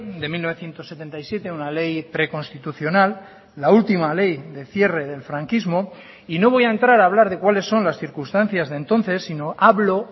de mil novecientos setenta y siete una ley preconstitucional la última ley de cierre del franquismo y no voy a entrar a hablar de cuáles son las circunstancias de entonces sino hablo